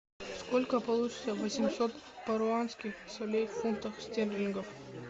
сколько получится восемьсот перуанских солей в фунтах стерлингов